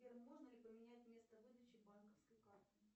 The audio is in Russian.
сбер можно ли поменять место выдачи банковской карты